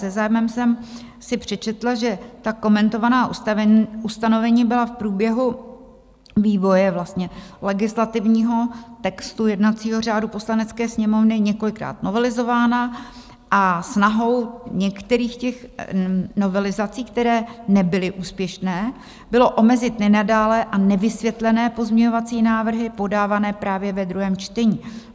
Se zájmem jsem si přečetla, že ta komentovaná ustanovení byla v průběhu vývoje legislativního textu jednacího řádu Poslanecké sněmovny několikrát novelizována a snahou některých těch novelizací, které nebyly úspěšné, bylo omezit nenadálé a nevysvětlené pozměňovací návrhy podávané právě ve druhém čtení.